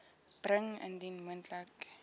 bring indien moontlik